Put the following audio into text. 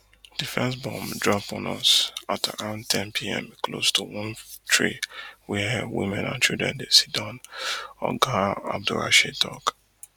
di first bomb drop on us at around ten pm close to one tree wia women and children dey siddon oga abdulrasheed tok